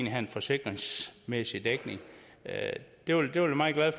have en forsikringsmæssig dækning jeg vil være meget glad